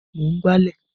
Mò ń gbálẹ̀